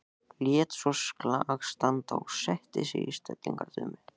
Lét svo slag standa og setti sig í stellingar dömu.